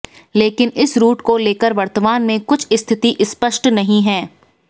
लेकिन इस रूट को लेकर वर्तमान में कुछ स्थिति स्पष्ट नहीं है